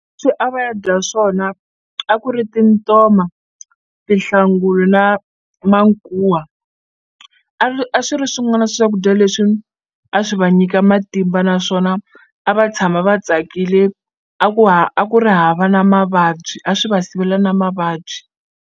A va ya dya swona a ku ri tintoma tihlanguri na mankuwa a a swi ri swin'wana swa swakudya leswi a swi va nyika matimba naswona a va tshama va tsakile a ku ha a ku ri hava na mavabyi a swi va sivela na mavabyi.